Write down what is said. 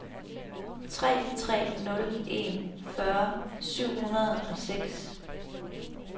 tre tre nul en fyrre syv hundrede og seks